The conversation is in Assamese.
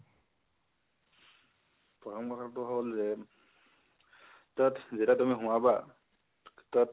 প্ৰথম কথাটো হল যে, তাত যেতিয়া তুমি সোমাবা, তাত